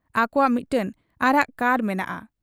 ᱟᱠᱚᱣᱟᱜ ᱢᱤᱫᱴᱟᱹᱝ ᱟᱨᱟᱜ ᱠᱟᱨ ᱢᱮᱱᱟᱜ ᱟ ᱾